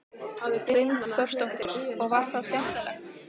Hrund Þórsdóttir: Og var það skemmtilegt?